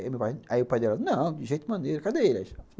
Aí meu pai, aí o pai dela, não, de jeito maneira, cadê ele?